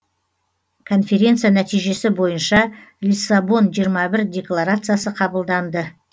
конференция нәтижесі бойынша лиссабон жиырма бір декларациясы қабылданды